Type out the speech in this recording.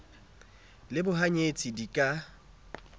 le bohany etsi di ka